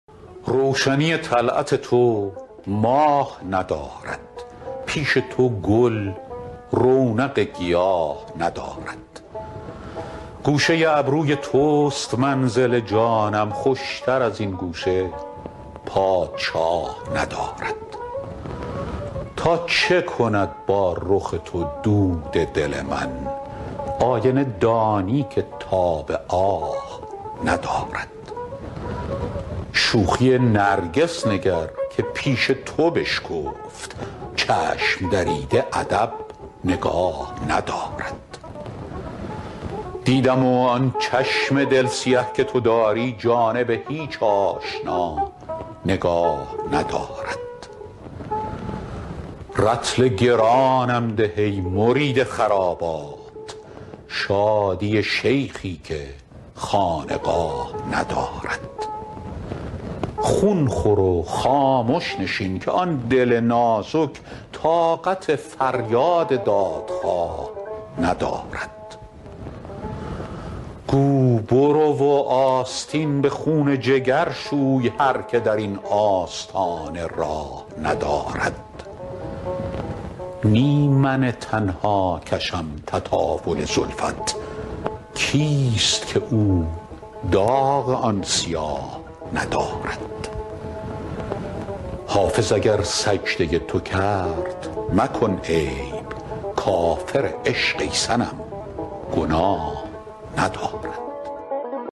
روشنی طلعت تو ماه ندارد پیش تو گل رونق گیاه ندارد گوشه ابروی توست منزل جانم خوشتر از این گوشه پادشاه ندارد تا چه کند با رخ تو دود دل من آینه دانی که تاب آه ندارد شوخی نرگس نگر که پیش تو بشکفت چشم دریده ادب نگاه ندارد دیدم و آن چشم دل سیه که تو داری جانب هیچ آشنا نگاه ندارد رطل گرانم ده ای مرید خرابات شادی شیخی که خانقاه ندارد خون خور و خامش نشین که آن دل نازک طاقت فریاد دادخواه ندارد گو برو و آستین به خون جگر شوی هر که در این آستانه راه ندارد نی من تنها کشم تطاول زلفت کیست که او داغ آن سیاه ندارد حافظ اگر سجده تو کرد مکن عیب کافر عشق ای صنم گناه ندارد